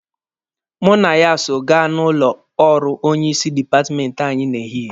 Mụ na ya so gaa n'ụlọ ọrụ onye isi dipatmenti anyị n'ehihie.